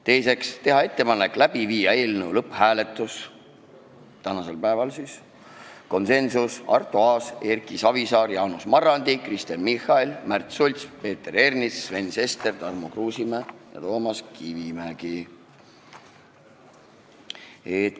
Teiseks, teha ettepanek läbi viia eelnõu lõpphääletus tänasel päeval, samuti konsensus: Arto Aas, Erki Savisaar, Jaanus Marrandi, Kristen Michal, Märt Sults, Peeter Ernits, Sven Sester, Tarmo Kruusimäe ja Toomas Kivimägi.